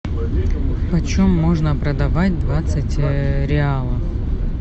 по чем можно продавать двадцать реалов